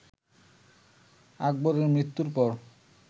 আকবরের মৃত্যুর পর